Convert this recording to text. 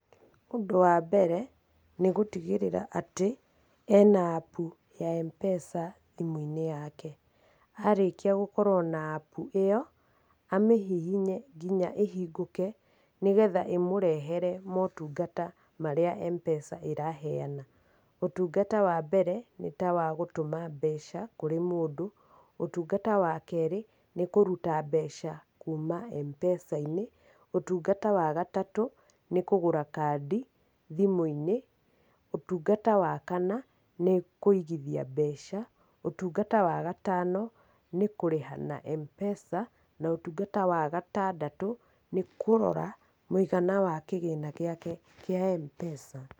Ũndũ wa mbere nĩ gũtigĩrĩra atĩ ena App ya M-Pesa thimũ-inĩ yake. Arĩkia gũkorwo na App ĩyo, amĩhihinye nginya ĩhingũke, ĩmũrehere motungata marĩa M-Pesa ĩraheana. Ũtungata wa mbere nĩtawagũtuma mbeca kũrĩ mũndũ, ũtungata wa kerĩ nĩ kũruta mbeca kuuna M-Pesa-inĩ, ũtungata wa gatatũ nĩ kũgũra kandi thimũ-inĩ, ũtungata wa kana, nĩ kũigithia mbeca, ũtungata wa gatano nĩ kũrĩha na M-Pesa, na ũtungata wa gatandatũ, nĩ kũrora mũigana wa kĩgĩna gĩake kĩa M-Pesa.